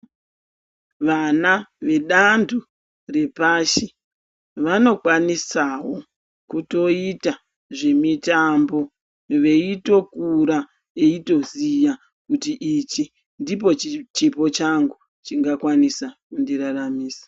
Vana vedanto repashi vanokwanisawo kutoita zvemitambo veitokura eitoziya kuti ichi ndicho chipo changu chingakwanisa kundiraramisa.